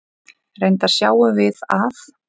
Reyndar sjáum við að